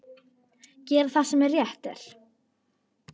Gera það sem rétt er.